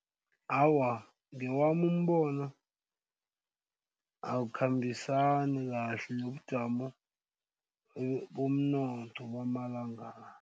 Awa, ngewami umbono awukhambisani kahle nobujamo bomnotho bamalanga la.